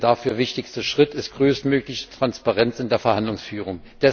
Der dafür wichtigste Schritt ist größtmögliche Transparenz in der Verhandlungsführung.